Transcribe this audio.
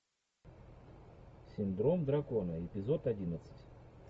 синдром дракона эпизод одиннадцать